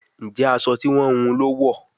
Njé aṣọ tí wón wun ló wọ?